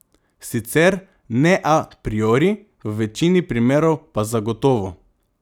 Sicer ne a priori, v večini primerov pa zagotovo.